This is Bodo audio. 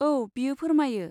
औ, बेयो फोरमायो।